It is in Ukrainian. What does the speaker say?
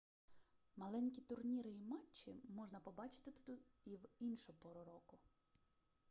маленькі турніри і матчі можна побачити тут і в іншу пору року